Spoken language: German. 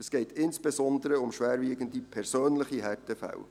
Es geht insbesondere um schwerwiegende persönliche Härtefälle.